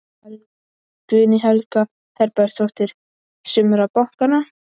Guðný Helga Herbertsdóttir: Sumra bankanna?